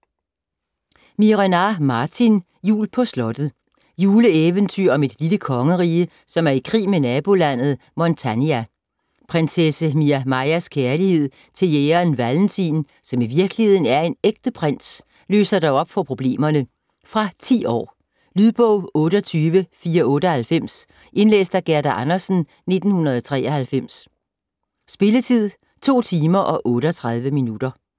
Miehe-Renard, Martin: Jul på slottet Juleeventyr om et lille kongerige, som er i krig med nabolandet Montania. Prinsesse Miamajas kærlighed til jægeren Valentin, som i virkeligheden er en ægte prins, løser dog op for problemerne. Fra 10 år. Lydbog 28498 Indlæst af Gerda Andersen, 1993. Spilletid: 2 timer, 38 minutter.